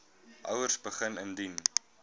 ouers begin indien